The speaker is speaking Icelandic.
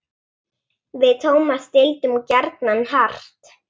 Við Tómas deildum gjarnan hart.